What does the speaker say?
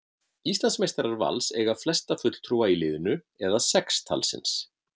Íslandsmeistarar Vals eiga flesta fulltrúa í liðinu eða sex talsins.